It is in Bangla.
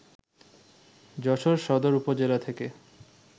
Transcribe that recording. যশোর সদর উপজেলা থেকে